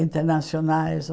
internacionais.